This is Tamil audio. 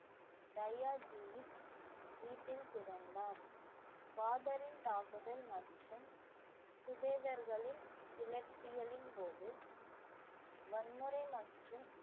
தயாஜியின் வீட்டில் பிறந்தார் பாபரின் தாக்குதல் மற்றும் சுபேதர்களின் கிளர்ச்சிகளின் போது வன்முறை மற்றும்